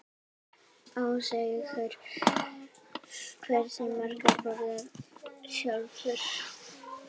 Ásgeir: Hversu margar borðarðu sjálfur?